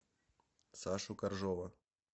сашу коржова